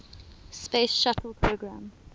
space shuttle program